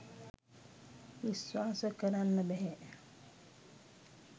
විශ්වාශ කරන්න බැහැ